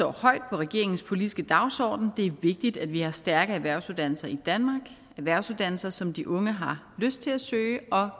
højt på regeringens politiske dagsorden for det er vigtigt at vi har stærke erhvervsuddannelser i danmark erhvervsuddannelser som de unge har lyst til at søge og